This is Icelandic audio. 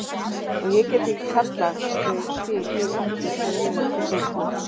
Og ég get ekki kallað þau til mín aftur fyrr en löngu seinna.